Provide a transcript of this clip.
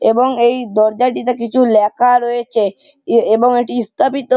এবং এই দরজাটিতে কিছু লেখা রয়েছে এবং এটি স্থাপিত।